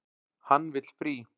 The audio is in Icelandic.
Hann vill frí.